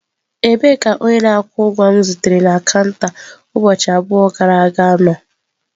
Ebee ka onye na-akwụ ụgwọ m zutere na kanta ụbọchị abụọ gara aga nọ?